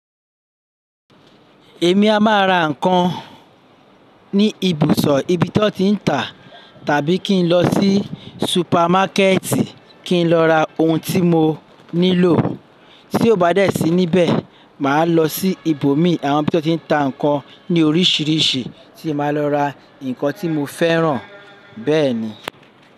Èmi a máa ra ǹkan ní ibùsọ̀ ibi tí wọ́n ti ń tà tàbí kí n lọ sí supermákẹ́ẹ̀tì kí n lọ ra oun tí mo nílò. Tí ò bá dẹ sí níbẹ̀, màá lọ sí ibòmí àwọn ibi tí wọ́n ti ń ta ǹkan ní oríṣìíríṣìí tí màá lọ ra ǹkan tí mo fẹ́ràn bẹ́ẹ̀ni.